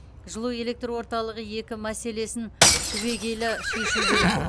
жылуэлектрорталығы екі мәселесін түбегейлі шешу керек